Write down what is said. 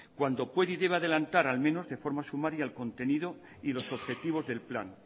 cuando pueda y deba adelantar al menos de forma sumaria el contenido y los objetivos del plan